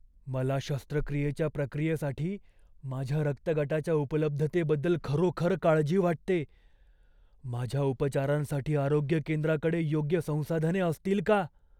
मला शस्त्रक्रियेच्या प्रक्रियेसाठी माझ्या रक्तगटाच्या उपलब्धतेबद्दल खरोखर काळजी वाटते. माझ्या उपचारांसाठी आरोग्य केंद्राकडे योग्य संसाधने असतील का?